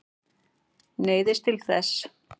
Neyðist til þess.